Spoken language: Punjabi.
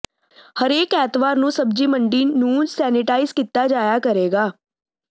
ਹਰੇਕ ਐਤਵਾਰ ਨੂੰ ਸਬਜ਼ੀ ਮੰਡੀ ਨੂੰ ਸੈਨੀਟਾਈਜ਼ ਕੀਤਾ ਜਾਇਆ ਕਰੇਗਾ